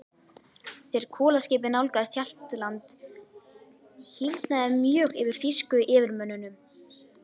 Þegar kolaskipið nálgaðist Hjaltland, hýrnaði mjög yfir þýsku yfirmönnunum.